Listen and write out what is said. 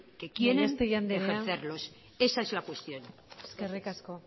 que quieren ejercerlos gallastegui andrea eskerrik asko esa es la cuestión